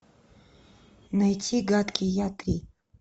найти гадкий я три